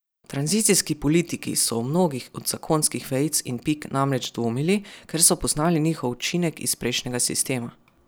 Tranzicijski politiki so o mnogih od zakonskih vejic in pik namreč dvomili, ker so poznali njihov učinek iz prejšnjega sistema.